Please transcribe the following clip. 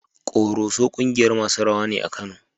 Ƙoroso ƙungiyar masu rawa ne a Kano.